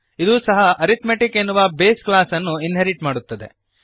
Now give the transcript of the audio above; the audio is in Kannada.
ಇದೂ ಸಹ ಅರಿಥ್ಮೆಟಿಕ್ ಎನ್ನುವ ಬೇಸ್ ಕ್ಲಾಸ್ ಅನ್ನು ಇನ್ಹೆರಿಟ್ ಮಾಡುತ್ತದೆ